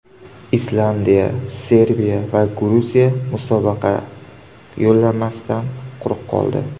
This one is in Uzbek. Islandiya, Serbiya va Gruziya musobaqa yo‘llanmasidan quruq qoldi.